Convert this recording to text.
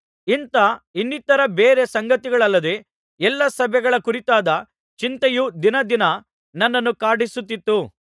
ಇಂಥ ಇನ್ನಿತರ ಬೇರೆ ಸಂಗತಿಗಳಲ್ಲದೆ ಎಲ್ಲಾ ಸಭೆಗಳ ಕುರಿತಾದ ಚಿಂತೆಯು ದಿನದಿನ ನನ್ನನ್ನು ಕಾಡಿಸುತ್ತಿತ್ತು